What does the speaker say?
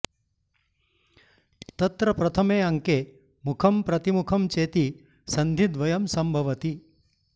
तत्र प्रथमे अङ्के मुखं प्रतिमुखं चेति सन्धिद्वयं सम्भवति